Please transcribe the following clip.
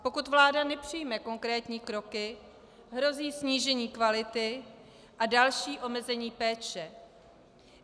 Pokud vláda nepřijme konkrétní kroky, hrozí snížení kvality a další omezení péče.